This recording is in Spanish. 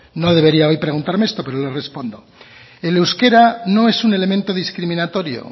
no debería hoy preguntarme esto pero le respondo el euskera no es un elemento discriminatorio